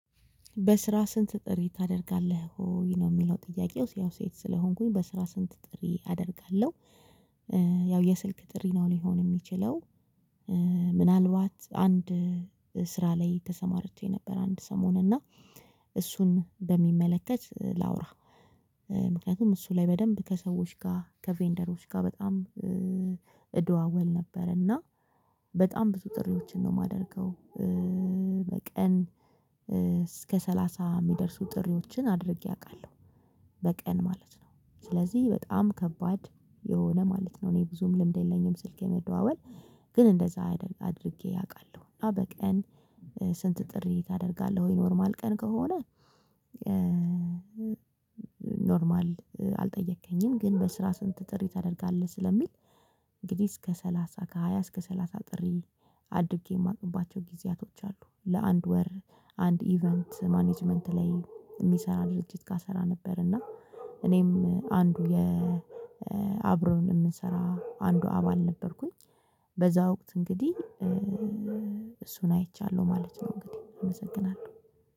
በስራ ስንት ጥሪ ታደርጋለህ ወይ ነው የሚለው ጥያቄው? ያው ሴት ስለሆንኩኝ በስራ ስንት ጥሪ አደርጋለሁ። ያው የስልክ ጥሪ ነው ሊሆን የሚችለው። ምናልባት አንድ ስራ ላይ ተሰማርቼ ነበር። አንድ ሰሙን እና እሱን በሚመለከት ላውራ። ምክንያቱም እሱ ላይ በደንብ ከሰዎች ጋር ከቬንደሮች ጋር በጣም እደዋወል ነበረ። እና በጣም ብዙ ጥሪዎችን ነው የማደርገው። በቀን እስከ ሰላሳ ሚደርሱ ጥሪዎችን አድርጌ አውቃለሁ። በቀን ማለት ነው ስለዚህ በጣም ከባድ የሆነ ማለት ነው። እኔ ብዙም ልምድ የለኝም ስልክ የመደዋወል ግን እንደዛ አድርጌ አውቃለሁ። እና በቀን ስንት ጥሪ ታደርጋለህ ወይ ኖርማል ቀን ከሆነ? ምናልባት አንድ ስራ ላይ ተሰማርቼ ነበር። አንድ ሰሙን እና እሱን በሚመለከት ላውራ። ምክንያቱም እሱ ላይ በደንብ ከሰዎች ጋር ከቬንደሮች ጋር በጣም እደዋወል ነበረ። እና በጣም ብዙ ጥሪዎችን ነው የማደርገው። አድጌ ማቅባቸው ጊዜያቶች አሉ። ለአንድ ወር አንድ ኢቨንት ማኔጅመንት ላይ የሚሰራ ድርጅትጋ እሰራ ነበር። እና እኔም አንዱ የአብሮን እምንሰራ አንዱ አባል ነበርኩኝ። በዛ ወቅት እንግዲህ እሱን አይቻለሁ ማለት ነው። እንግዲህ እመሰግናለሁ።